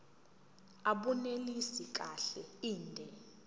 abunelisi kahle inde